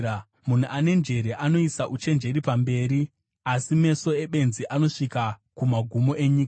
Munhu ane njere anoisa uchenjeri pamberi, asi meso ebenzi anosvika kumagumo enyika.